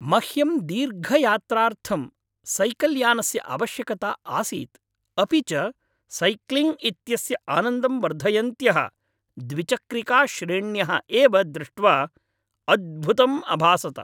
मह्यं दीर्घयात्रार्थं सैकल्यानस्य आवश्यकता आसीत्, अपि च सैक्लिङ्ग् इत्यस्य आनन्दं वर्धयन्त्यः द्विचक्रिकाश्रेण्यः एव दृष्ट्वा अद्भुतम् अभासत।